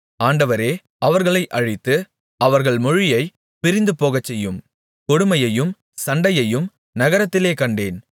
ஆண்டவரே அவர்களை அழித்து அவர்கள் மொழியை பிரிந்துபோகச்செய்யும் கொடுமையையும் சண்டையையும் நகரத்திலே கண்டேன்